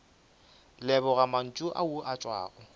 leboga mantšu ao a tšwago